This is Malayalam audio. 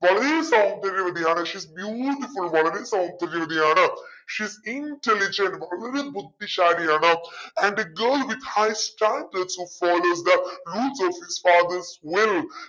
വളരെ സൗന്ദര്യവതിയാണ് she is beautiful വളരെ സൗന്ദര്യവതിയാണ് she is intelligent വളരെ ബുദ്ധിശാലിയാണ് and a girl with high standard who follow the rules of his fathers will